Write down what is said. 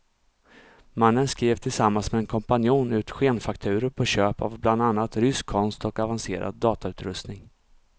Mannen skrev tillsammans med en kompanjon ut skenfakturor på köp av bland annat rysk konst och avancerad datautrustning.